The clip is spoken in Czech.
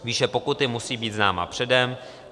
Výše pokuty musí být známa předem.